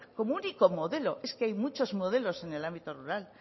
como único modelo es que hay muchos modelos en el ámbito rural